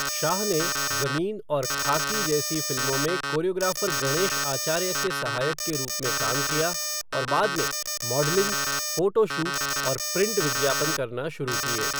शाह ने ज़मीन और खाकी जैसी फ़िल्मों में कोरियोग्राफ़र गणेश आचार्य के सहायक के रूप में काम किया और बाद में मॉडलिंग, फ़ोटो शूट और प्रिंट विज्ञापन करना शुरू किए।